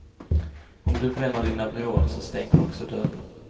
Om du bränner dina broar, så stänger du också dörrar.